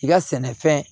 I ka sɛnɛfɛn